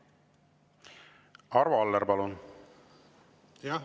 Arvo Aller, palun!